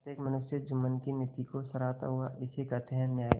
प्रत्येक मनुष्य जुम्मन की नीति को सराहता थाइसे कहते हैं न्याय